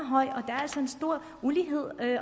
en stor ulighed